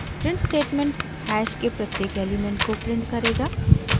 print statement hash के प्रत्येक element को प्रिंट करेगा